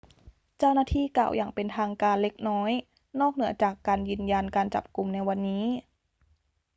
เจ้าหน้าที่กล่าวอย่างเป็นทางการเล็กน้อยนอกเหนือจากยืนยันการจับกุมในวันนี้